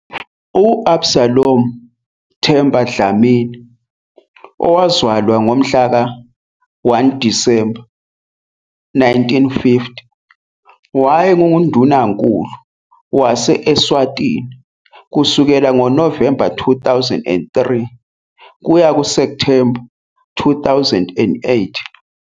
U-Absalom Themba Dlamini, owazalwa ngomhlaka 1 Disemba 1950, wayenguNdunankulu wase - Eswatini kusukela ngoNovemba 2003 kuya kuSepthemba 2008.